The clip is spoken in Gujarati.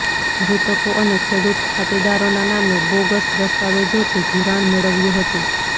મૃતકો અને ખેડૂત ખાતેદારોના નામે બોગસ દસ્તાવેજોથી ધિરાણ મેળવ્યું હતુ